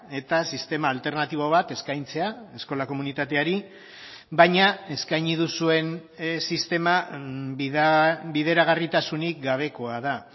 eta sistema alternatibo bat eskaintzea eskola komunitateari baina eskaini duzuen sistema bideragarritasunik gabekoa da